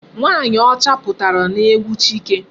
Nwaanyị ọcha pụtara n'egwu Chike.